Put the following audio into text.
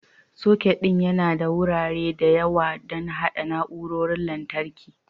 Socket ɗin yana da wurare da yawa don haɗa na'urorin lantarki.